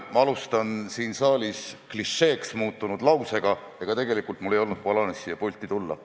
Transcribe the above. Ma alustan siin saalis klišeeks muutunud lausega, et tegelikult mul ei olnud plaanis siia pulti tulla.